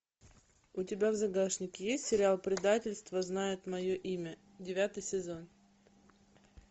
у тебя в загашнике есть сериал предательство знает мое имя девятый сезон